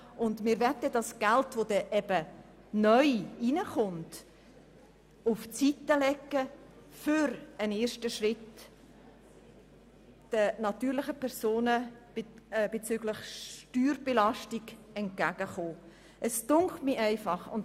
Wir möchten das Geld, welches neu hineinkommt, auf die Seite legen, um den natürlichen Personen in Sachen steuerliche Belastung einen ersten Schritt entgegenzukommen.